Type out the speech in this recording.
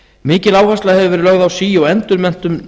mikil áhersla hefur verið lögð á sí og endurmenntun